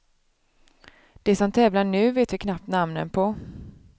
De som tävlar nu vet vi knappt namnen på.